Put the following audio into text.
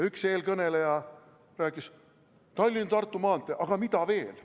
Üks eelkõneleja rääkis, et jah, Tallinna–Tartu maantee, aga mida veel.